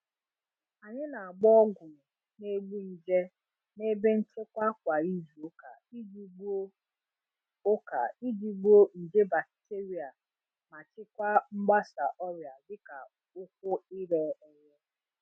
Anyị na-agba ọgwụ na-egbu nje n'ebe nchekwa kwa izu ụka iji gbuo ụka iji gbuo nje bakiterịa ma chịkwaa mgbasa ọrịa dịka ụkwụ ire ere.